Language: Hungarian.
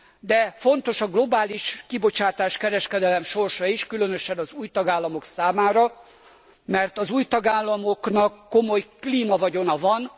De fontos a globális kibocsátáskereskedelem sorsa is, különösen az új tagállamok számára, mert az új tagállamoknak komoly klímavagyona van.